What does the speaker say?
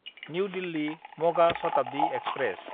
new दिल्ली–मगा Shatabdi express